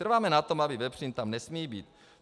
Trváme na tom, že vepřín tam nesmí být.